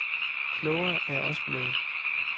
Klogere er jeg også blevet.